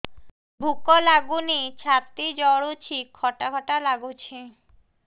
ଭୁକ ଲାଗୁନି ଛାତି ଜଳୁଛି ଖଟା ଖଟା ଲାଗୁଛି